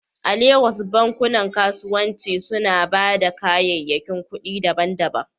A Legas, bankunan kasuwanci suna ba da kayayyakin kuɗi daban-daban?